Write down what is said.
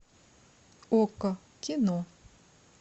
окко кино